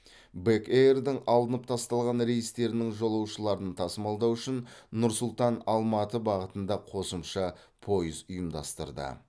бек эйрдің алынып тасталған рейстерінің жолаушыларын тасымалдау үшін нұр сұлтан алматы бағытында қосымша пойыз ұйымдастырды